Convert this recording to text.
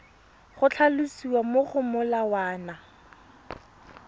go tlhalosiwa mo go molawana